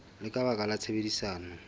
le ka baka la tshebedisano